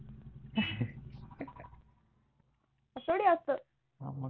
असे थोडी असतं